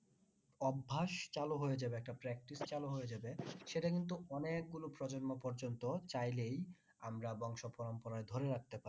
অভ্যাস চালু হয়ে যাবে একটা practice চালু হয়ে যাবে সেটা কিন্তু অনেক গুলো প্রজন্ম পর্যন্ত চাইলেই আমরা বংশ পরম্পরায় ধরে রাখতে পারি।